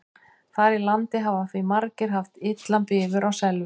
Þar í landi hafa því margir haft illan bifur á selveiðum.